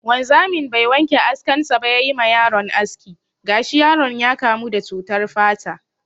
Wanzamin bai wanke askan sa ba ya yi ma yaron aski, gashi yaron ya kamu da cutar fata.